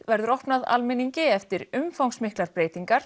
verður opnað almenningi eftir umfangsmiklar